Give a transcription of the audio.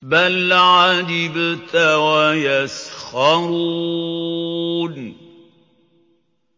بَلْ عَجِبْتَ وَيَسْخَرُونَ